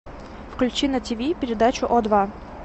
включи на тв передачу о два